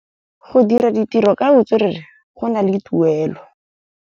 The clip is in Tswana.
Go dira ditirô ka botswerere go na le tuelô.